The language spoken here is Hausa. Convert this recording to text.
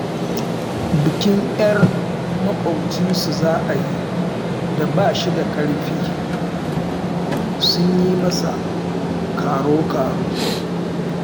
Bikin 'yar maƙwabcinsu za a yi da ba shi da ƙarfi, sun yi masa karo-karo